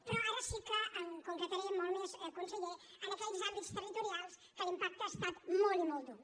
però ara sí que em concretaré molt més conseller en aquells àmbits territorials en els quals l’impacte ha estat molt i molt dur